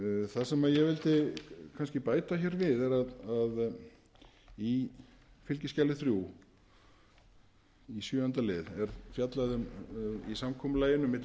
það sem ég vildi kannski bæta við er að í fskj þrjú í sjöunda lið er fjallað um í samkomulaginu milli